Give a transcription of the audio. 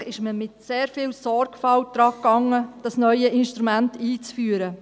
Offensichtlich hat man sich mit sehr viel Sorgfalt daran gemacht, dieses neue Instrument einzuführen.